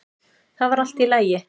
Það var allt í lagi.